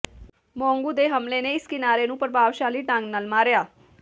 ਮੋਂਗੂ ਦੇ ਹਮਲੇ ਨੇ ਇਸ ਕਿਨਾਰੇ ਨੂੰ ਪ੍ਰਭਾਵਸ਼ਾਲੀ ਢੰਗ ਨਾਲ ਮਾਰਿਆ